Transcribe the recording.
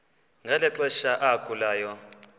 ngeli xesha agulayo